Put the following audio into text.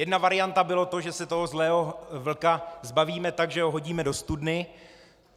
Jedna varianta bylo to, že se toho zlého vlka zbavíme tak, že ho hodíme do studny.